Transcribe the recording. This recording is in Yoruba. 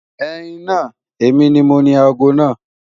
Ẹ̀yin naa, emi ni mọ̀ni àágọ́ naa.